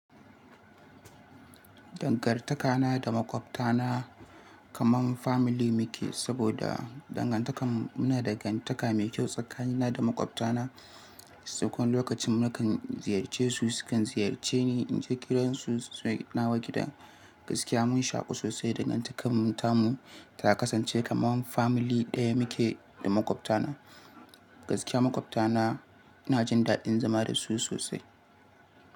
Dangantakana da makwabtana kaman family muke saboda dangantakar mu na dangantaka mai kyau tsakanina da makwabtana. Sauƙon lokacin nakan ziyarce su, sukan ziyarce ni. Inje gidan su na gida gaskiya mun shaƙu sosai dangantakar mu ta kasance kaman family ɗaya muke da makwabtana. Gaskiya makwabtana ina jin daɗin zama da su sosai.